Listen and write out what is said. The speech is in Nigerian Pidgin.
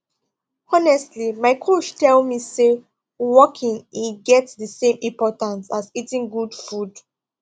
honestly my coach tell me say walking e get the same importance as eating good food